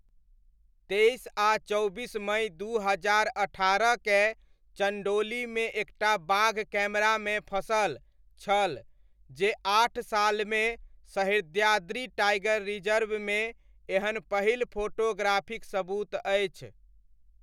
तेइस आ चौबीस मई दू हजार अट्ठारह कए चण्डोलीमे एक टा बाघ कैमरामे फँसल छल, जे आठ सालमे सह्याद्री टाइगर रिजर्वमे एहन पहिल फोटोग्राफिक सबूत अछि।